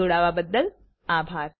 જોડાવા બદલ અભાર